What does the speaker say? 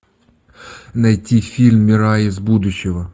найти фильм мирай из будущего